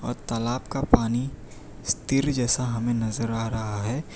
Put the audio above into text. और तालाब का पानी इस तीर जैसा हमें नजर आ रहा है।